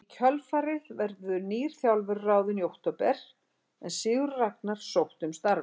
Í kjölfarið verður nýr þjálfari ráðinn í október en Sigurður Ragnar sótti um starfið.